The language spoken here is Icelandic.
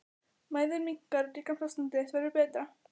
Mæðin minnkar- líkamsástand þitt verður betra.